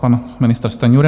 Pan ministr Stanjura.